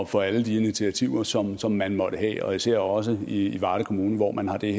for alle de initiativer som som man måtte have og især også i varde kommune hvor man har det